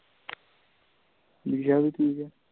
ਨਿਸ਼ਾ ਵੀ ਠੀਕ ਆ